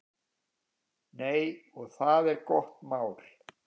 Nei, og það er gott mál.